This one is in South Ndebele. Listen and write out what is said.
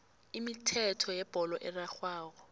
imithetho yebholo erarhwako